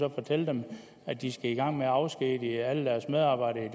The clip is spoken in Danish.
og fortælle dem at de skal i gang med at afskedige alle deres medarbejdere i